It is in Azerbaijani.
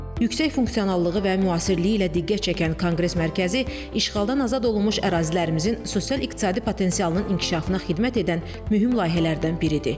Yüksək funksionallığı və müasirliyi ilə diqqət çəkən Konqres Mərkəzi işğaldan azad olunmuş ərazilərimizin sosial-iqtisadi potensialının inkişafına xidmət edən mühüm layihələrdən biridir.